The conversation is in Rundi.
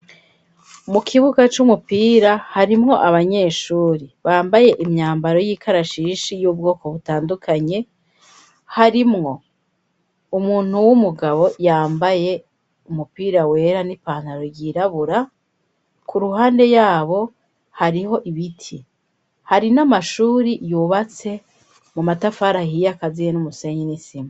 Mu kibuga c'umupira, harimwo abanyeshuri bambaye imyambaro y'ikarashishi y'ubwoko butandukanye, harimwo umuntu w'umugabo yambaye umupira wera n'ipantaro yirabura, ku ruhande yabo hariho ibiti, hari n'amashuri yubatse mu matafari ahiye akaziye n'umusenyi n'isima.